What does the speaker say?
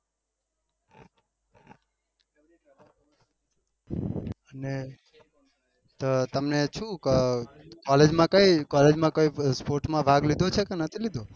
અને તમને તમને શું collage માં કઈ collage માં કઈ sport લીધો છે કે નથી લીધો